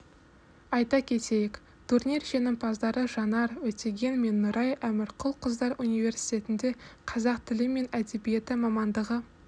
айта кетейік турнир жеңімпаздары жанар өтеген мен нұрай әмірқұл қыздар университетінде қазақ тілі мен әдебиеті мамандығы